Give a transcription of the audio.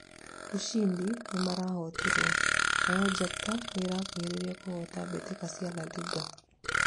ushindi nĩmarahotirwo, nao njata nĩrakuhĩrĩria kũhota mbitika cia La Liga